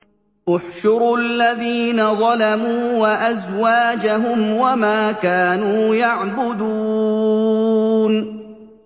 ۞ احْشُرُوا الَّذِينَ ظَلَمُوا وَأَزْوَاجَهُمْ وَمَا كَانُوا يَعْبُدُونَ